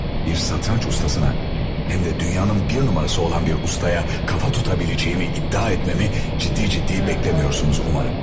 Bir satranç ustasına, həm də dünyanın bir nömrəsi olan bir ustaya kafa tutabileceğimi iddia etməmi ciddi-ciddi beklemiyorsunuz umarım.